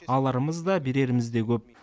аларымыз да береріміз де көп